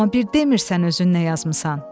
Amma bir demirsən özün nə yazmısan?